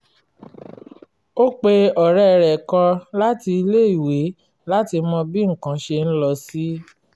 ó pe ọ̀rẹ́ rẹ̀ kan láti ilé-èwé láti mọ bí nǹkan ṣe ń lọ sí